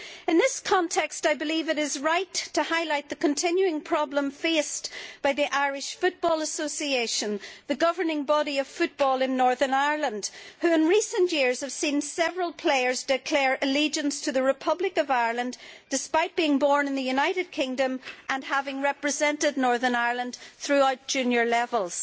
In this context, I believe it is right to highlight the continuing problem faced by the Irish Football Association, the governing body of football in Northern Ireland, which in recent years has seen several players declare allegiance to the Republic of Ireland despite being born in the United Kingdom and having represented Northern Ireland throughout junior levels.